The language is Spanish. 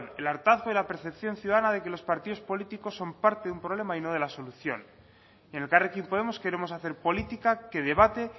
el hartazgo y la percepción ciudadana de que los partidos políticos son parte de un problema y no de la solución y en elkarrekin podemos queremos hacer política que debate